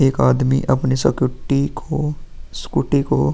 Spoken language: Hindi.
एक आदमी अपने सकूटी को स्कूटी को --